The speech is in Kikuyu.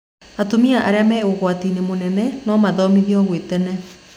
Atumia arĩa me ũgwatinĩ mũnene no mathimo gwĩ tene